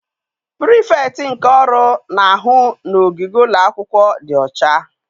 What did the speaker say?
Pirifektị nke ọrụ na-ahụ n'ogige ụlọ akwụkwọ dị ọcha.